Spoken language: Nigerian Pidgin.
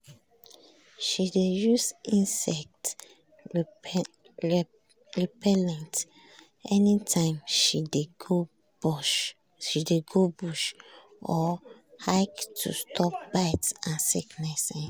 um she dey use insect repellent anytime she dey go bush or um hike to stop bite and sickness. um